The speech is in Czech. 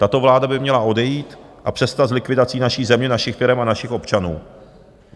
Tato vláda by měla odejít a přestat s likvidací naší země, našich firem a našich občanů.